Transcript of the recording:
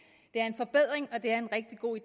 det er en forbedring og det er en rigtig god